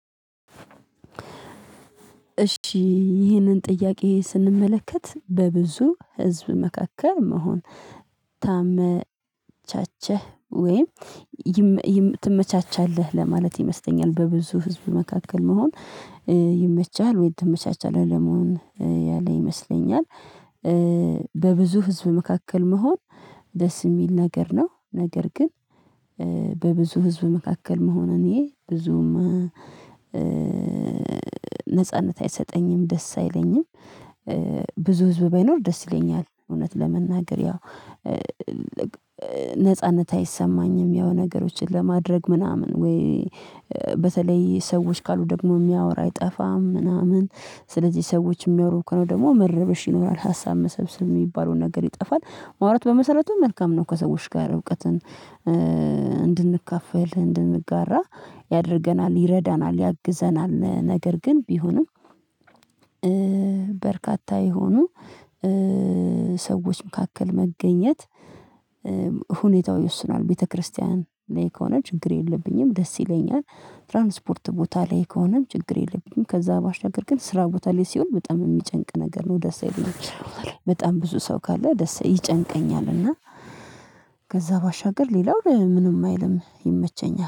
እሺ ይሄንን ጥያቄ ስንመለከት በብዙ ህዝብ መካከል መሆን ታመቻቸህ ወይም ትመቻቻለህ ለማለት ይመስለኛል በብዙ ህዝብ መካከል መሆን ይመቻል ወይ ትመቻቻለህ ለመሆን ያለ ይመስለኛል? በብዙ ህዝብ መካከል መሆን ደስ የሚል ነገር ነው። ነገር ግን በብዙ ህዝብ መካከል መሆን እኔ ብዙም ነጻነት አይሰጠኝም ደስ አይለኝም። ብዙ ህዝብ ባይኖር ደስ ይለኛል እውነት ለመናገር ያው ነጻነት አይሰማኝም። የሆነ ነገሮችን ለማድረግ ምናምን ወይ በተለይ ሰዎች ካሉ ደግሞ የሚያወራ አይጠፋም ምናምን። ስለዚህ ሰዎች የሚያወሩ ከነው ደግሞ መረበሽ ይኖራል ሀሳብ መሰብሰብ የሚባለውን ነገር ይጠፋል። ማውራት በመሰረቱ መልካም ነው ከሰዎች ጋር እውቀትን እንድንካፈል እንድንጋራ ያደርገናል ይረዳናል ያግዘናል። ነገር ግን ቢሆንም በርካታ የሆኑ ሰዎች መካከል መገኘት ሁኔታው ይወስናል። ቤተክርስቲያን ላይ ከሆነ ችግር የለብኝም ደስ ይለኛል። ትራንስፖርት ቦታ ላይ ከሆነም ችግር የለብኝም። ከዛ ባሻገር ግን ስራ ቦታ ላይ ሲሆን በጣም የሚጨንቅ ነገር ነው ደስ ኣይለኝም። በስራ ቦታ ላይ በጣም ብዙ ሰው ካለ ደስ ይጨንቀኛል እና ከዛ ባሻገር ሌላው ምንም አይልም ይመቸኛል